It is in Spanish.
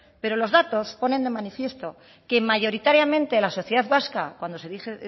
pero los datos ponen de manifiesto que mayoritariamente la sociedad vasca cuando se